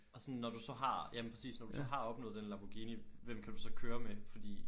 Og sådan når du så har ja men præcis når du så har opnået den Lamborghini hvem kan du så køre med? Fordi